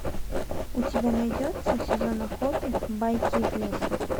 у тебя найдется сезон охоты байки из леса